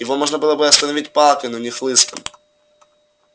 его можно было бы остановить палкой но не хлыстом